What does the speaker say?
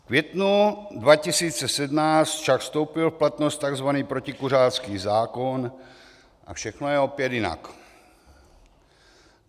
V květnu 2017 však vstoupil v platnost tzv. protikuřácký zákon a všechno je opět jinak.